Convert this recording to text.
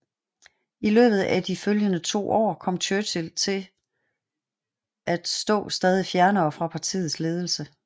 I løbet af de følgende to år kom Churchill til stå stadig fjernere fra partiets ledelse